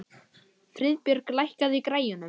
Friðbjörg, lækkaðu í græjunum.